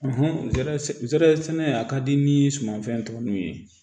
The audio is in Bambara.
zɛrɛ zɛrɛ sɛnɛ a ka di ni sumanfɛn tɔ nunnu ye